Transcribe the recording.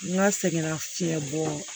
N ka sɛgɛnna fiɲɛ bɔ